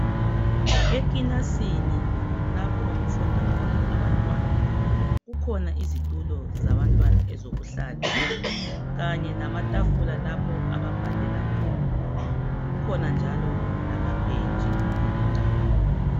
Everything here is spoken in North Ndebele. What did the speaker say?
ekilasini lapho okufunda khona abantwana kukhona izitulo zabantwana ezokuhlala kanye lamatafula lapho ababhalela khona kukhona njalo lamabhentshi kule indawo